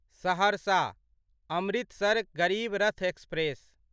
सहरसँ Amritsar Garib Rath express